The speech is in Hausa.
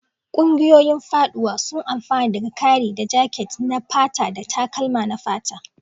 Ƙungiyoyin faɗuwa suna amfana daga ƙari na jaket na fata da takalma na fata.